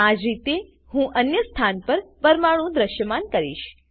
આજ રીતે હું અન્ય સ્થાન પર પરમાણુઓ દ્રશ્યમાન કરીશ